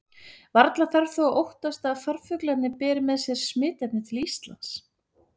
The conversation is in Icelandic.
Varla þarf þó að óttast að farfuglarnir beri með sér smitefnið til Íslands.